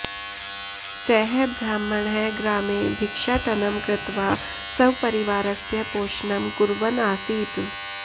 सः ब्राह्मणः ग्रामे भिक्षाटनं कृत्वा स्वपरिवारस्य पोषणं कुर्वन् आसीत्